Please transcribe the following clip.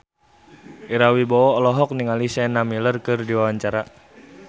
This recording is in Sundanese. Ira Wibowo olohok ningali Sienna Miller keur diwawancara